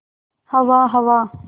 हवा हवा